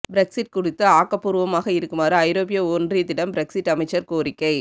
Brexit குறித்து ஆக்கபூர்வமாக இருக்குமாறு ஐரோப்பிய ஒன்றியத்திடம் பிரெக்ஸிற் அமைச்சர் கோரிக்கை